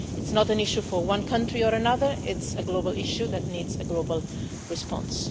It is not an issue for one country or another, it is a global issue that needs a global response.